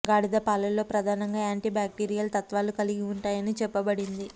గాడిద పాలలో ప్రధానంగా యాంటీ బ్యాక్టీరియల్ తత్వాలు కలిగి ఉంటాయని చెప్పబడింది